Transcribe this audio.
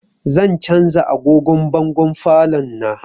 Zan canza agogon bangon falon na